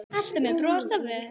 Alltaf með bros á vör.